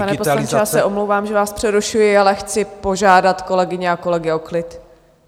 Pane poslanče, já se omlouvám, že vás přerušuji, ale chci požádat kolegyně a kolegy o klid.